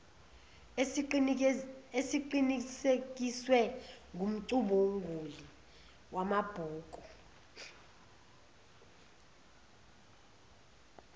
esiqinisekiswe ngumcubunguli wamabhuku